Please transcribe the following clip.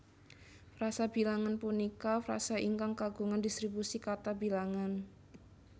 Frasa bilangan punika frasa ingkang kagungan distribusi kata bilangan